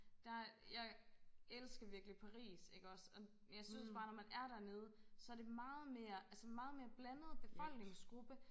Der jeg elsker virkelig Paris ikke også og jeg synes bare når man er dernede så det meget mere altså meget mere blandet befolkningsgruppe